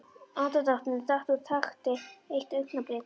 Andardrátturinn datt úr takti eitt augnablik.